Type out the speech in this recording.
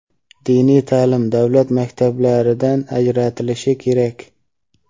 diniy ta’lim davlat maktablaridan ajratilishi kerak.